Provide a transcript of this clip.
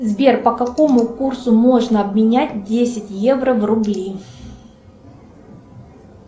сбер по какому курсу можно обменять десять евро в рубли